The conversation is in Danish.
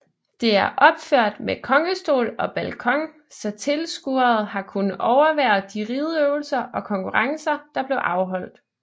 Det er opført med kongestol og balkon så tilskuerede har kunnet overvære de rideøvelser og konkurrencer der blev afholdt